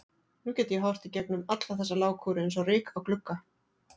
Nú get ég horft í gegnum alla þessa lágkúru eins og ryk á glugga.